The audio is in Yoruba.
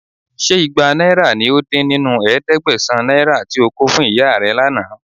Ṣé igba náírà ní ó dín nínú ẹ̀ẹ́dẹ́gbẹ̀sán náírà tí ó kò fún ìyá rẹ̀ lánàá?